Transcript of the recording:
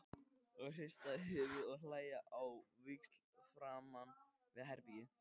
Og hrista höfuðið og hlæja á víxl framan við herbergið.